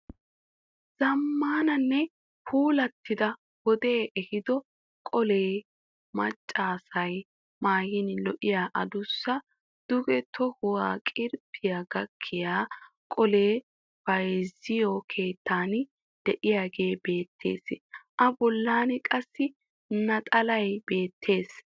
Zammaanannee puulattida wodee ehido qolee maccaasay maayin lo'iyaa adussa duge tohuwaa qirbbiya gakkiya qolee bayizziyo keettan diyagee beettes. A bollan qassi naxalay beettes.